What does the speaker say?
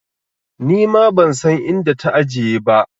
Nima ban san inda ta ajiye ba.